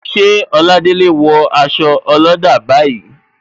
Ṣé Oladele wo aṣọ olada bayij